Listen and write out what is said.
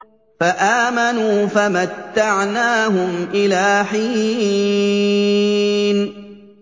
فَآمَنُوا فَمَتَّعْنَاهُمْ إِلَىٰ حِينٍ